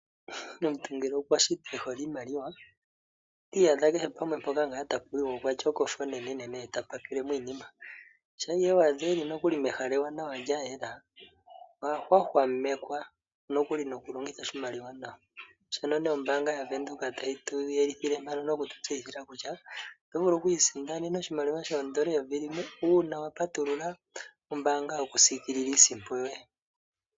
Omuntu ngele okwa shitwa e hole iimaliwa ota iyadha kehe mpoka tapu yiwa okwa tya okofa onenenene ye ta pakele mo iinima. Shampa i iyadha e li mehala ewanawa lya yela, oha hwahwamekwa nokuli nokulongitha oshimaliwa nawa. Shono ombaanga yaVenduka tayi tu yelithile noku tu tseyithila kutya oto vulu oku isindanena oshimaliwa shooN$ 1000, uuna wa patulula omayalulo gombaanga gokusiikilila iisimpo yoye.